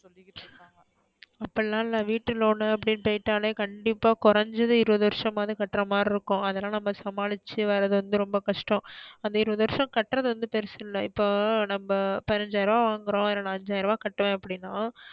அப்டி லா இல்ல வீட்டு loan நு அப்டி போய்டாலே கண்டிப்பா கொறஞ்சது இருவது வருஷம் மாது கற்றமரி இருக்கும். அதெல்லாம் நம்ம சமாளிச்சு வராது வந்து ரொம்ப கஷ்டம். அந்த இருவது வருஷம் கற்றது வந்து பெருசு இல்ல. இப்ப நம்ம பதினஞ்சைரம் வாங்கறோம் அதுல நா அஞ்சாயிரம் கட்டுவேன் அப்டினா.